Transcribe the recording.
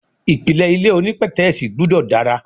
Ìpìlẹ̀ ilé onípètẹ́sì gbúdọ̀ dára.